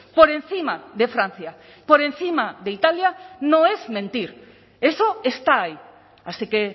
por encima de francia por encima de italia no es mentir eso está ahí así que